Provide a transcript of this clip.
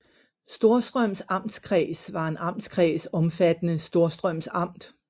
Storstrøms Amtskreds var en amtskreds omfattende Storstrøms Amt